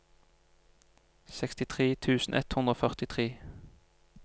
sekstitre tusen ett hundre og førtitre